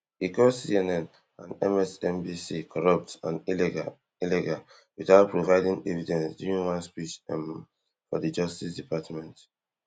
e call CNN and MSNBC corrupt and illegal illegal without providing evidence during one speech um for di justice department